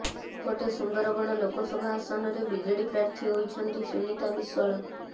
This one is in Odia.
ସେପଟେ ସୁନ୍ଦରଗଡ଼ ଲୋକସଭା ଆସନରେ ବିଜେଡି ପ୍ରାର୍ଥୀ ହୋଇଛନ୍ତି ସୁନୀତା ବିଶ୍ବାଳ